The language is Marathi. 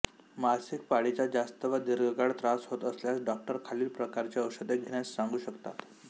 मासिक पाळीचा जास्त व दीर्घकाळ त्रास होत असल्यास डॉक्टर खालील प्रकारची औषधे घेण्यास सांगू शकतात